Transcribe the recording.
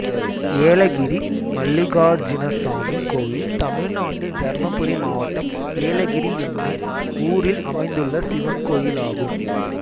ஏலகிரி மல்லிகார்ஜினசாமி கோயில் தமிழ்நாட்டில் தர்மபுரி மாவட்டம் ஏலகிரி என்னும் ஊரில் அமைந்துள்ள சிவன் கோயிலாகும்